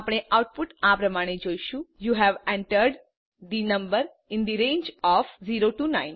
આપણે આઉટપુટ આ પ્રમાણે જોઈશું160 યુ હવે entered the number in the range of 0 9